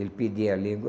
Ele pedia língua.